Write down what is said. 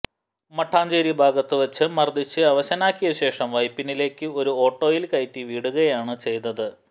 മട്ടാഞ്ചേരി ഭാഗത്ത് വെച്ച് മര്ദ്ദിച്ച് അവശനാക്കിയശേഷം വൈപ്പിനിലേക്ക് ഒരു ഓട്ടോയില് കയറ്റി വിടുകയാണ് ചെയ്തത്